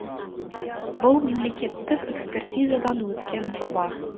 бұл мемлекеттік экспертизадан өткен жоба